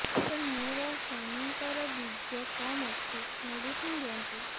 ସାର ମୋର ସ୍ୱାମୀଙ୍କର ବୀର୍ଯ୍ୟ କମ ଅଛି ମେଡିସିନ ଦିଅନ୍ତୁ